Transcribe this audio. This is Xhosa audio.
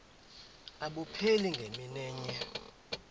abupheli ngemini enye